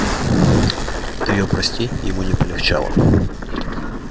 от её прости ему не полегчало